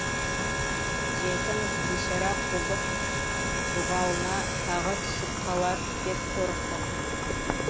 жетім бишара құлдық бұғауына тағы түсіп қалар деп қорықты